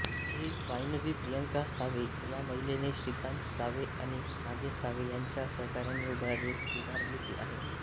ही winery Priyanka Save ह्या महिलेने श्रीकांत सावे आणि नागेश सावे ह्यांच्या सहकार्याने उभारली आहे